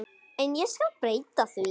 En ég skal breyta því.